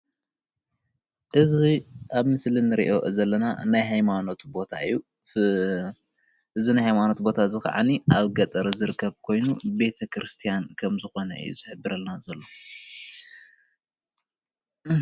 እዚ አብ ምስሊ እንር'ዮ ዘለና ናይ ሃይማኖት ቦታ እዩ። እዚ ናይ ሃይማኖት ቦታ እዚ ከዓኒ አብ ገጠር ዝርከብ ኮይኑ ቤተ-ክርስቲያን ከም ዝኮነ እዩ ዝሕብረና ዘሎ።